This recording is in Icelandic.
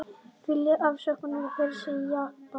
Vilja afsögn forsætisráðherra Japans